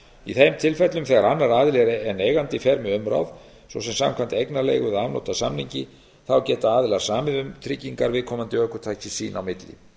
í þeim tilfellum þegar annar aðili en eigandi fer með umráð svo sem samkvæmt eignarleigu eða afnot af samningi geta aðilar samið um tryggingar viðkomandi ökutækis sín á milli